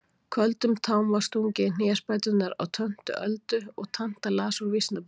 Köldum tám var stungið í hnésbæturnar á töntu Öldu og tanta las úr Vísnabókinni.